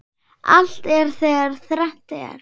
Allt er þegar þrennt er.